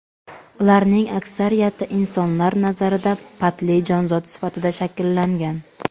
Ularning aksariyati insonlar nazarida patli jonzot sifati shakllangan.